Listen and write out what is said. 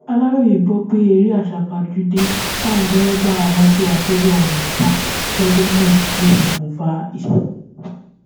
aláròye gbọ pé eré àsápajúdé táwọn dẹrẹbà mọtò akérò ọhún ń sá lọjọ náà ló ṣokùnfà ìṣẹlẹ ọhún